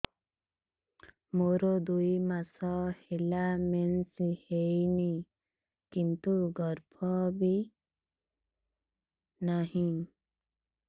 ମୋର ଦୁଇ ମାସ ହେଲା ମେନ୍ସ ହେଇନି କିନ୍ତୁ ଗର୍ଭ ବି ନାହିଁ